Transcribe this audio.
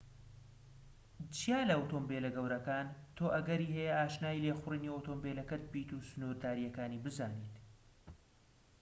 جیا لە ئۆتۆمۆبیلە گەورەکان تۆ ئەگەری هەیە ئاشنای لێخوڕینی ئۆتۆمۆبیلەکەت بیت و سنوورداریەکانی بزانیت